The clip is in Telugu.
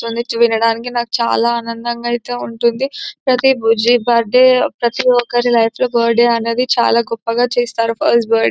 తుంది వినడానికి నాకు చాలా ఆనందంగా ఐతే ఉంటుంది. ప్రతి బర్త్డే ప్రతి ఒక్కరి లైఫ్ లో బర్త్ డే అనేది చాలా గొప్పగా చేస్తారు. First birth--